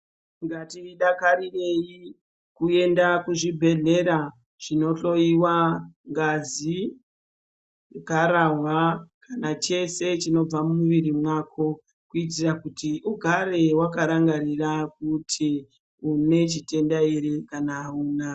Ngatidakarirei kuenda kuzvibhedhlera zvinohloyiwa ngazi, gararwa kana chese chinobva mumwiri mwako kuitira kuti ugare wakarangarira kuti une chitenda ere kana auna.